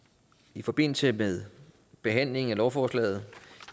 i forbindelse med behandlingen af lovforslaget